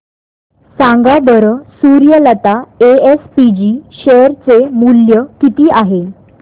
सांगा बरं Suryalata SPG share चे मूल्य किती आहे